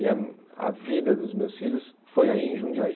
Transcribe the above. E a a vida dos meus filhos foi aí em Jundiaí.